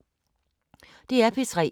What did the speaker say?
DR P3